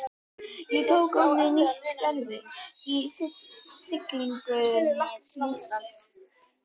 Ég tók á mig nýtt gervi á siglingunni til Íslands.